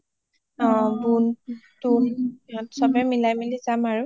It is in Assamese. অ বুন তুন ইহত চবে মিলাই মিলি যাম আৰু